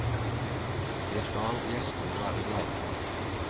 Det skal gjestene være glade for.